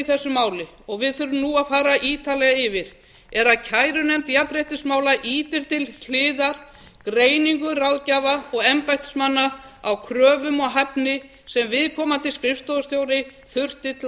þessu máli og við þurfum nú að fara ítarlega yfir er að kærunefnd jafnréttismála ýtir til hliðar greiningu ráðgjafa og embættismanna á kröfum og hæfni sem viðkomandi skrifstofustjóri þurfti